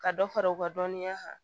Ka dɔ fara u ka dɔnniya kan